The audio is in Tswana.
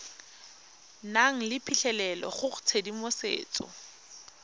nang le phitlhelelo go tshedimosetso